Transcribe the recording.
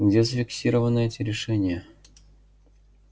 где зафиксированы эти решения